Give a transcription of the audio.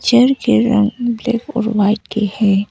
Chair के रंग black और व्हाइट के है।